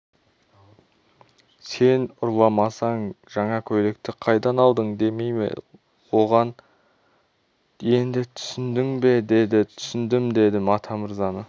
сен ұрламасаң жаңа көйлекті қайдан алдың демей ме оған енді түсіндің бе деді түсіндім дедім атамырзаны